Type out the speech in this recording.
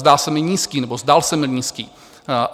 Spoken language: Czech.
Zdá se mi nízký, nebo zdál se mi nízký.